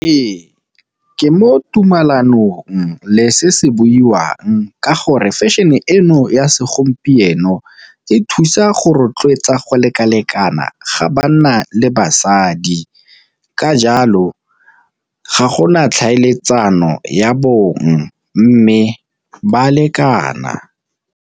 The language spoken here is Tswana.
Ee, ke mo tumalanong le se se buiwang ka gore fashion-e eno ya segompieno e thusa go rotloetsa go lekalekana ga banna le basadi. Ka jalo ga gona tlhaeletsano ya bong mme ba lekana.